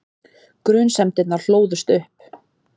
Grunsemdirnar hlóðust upp.